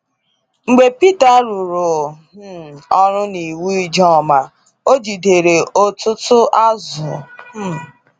Mgbe Peter rụrụ um ọrụ na iwu Ijoma, o jidere ọtụtụ azụ um.